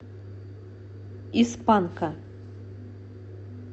из панка